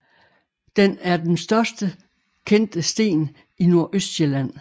Den er den størst kendte sten i Nordøstsjælland